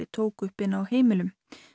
tók upp inni á heimilum